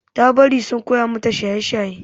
Ta bari sun koya mata shaye-shaye.